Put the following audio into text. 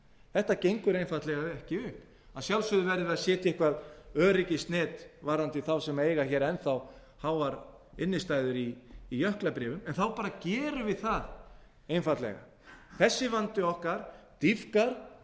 þetta gengur einfaldlega ekki upp að sjálfsögðu verður að setja eitthvað öryggisnet varðandi þá sem eiga enn þá háar innistæður í jöklabréfum en þá bara gerum við það einfaldlega þessi vandi okkar dýpkar og